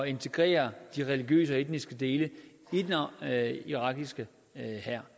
integrere de religiøse og etniske dele af irakiske hær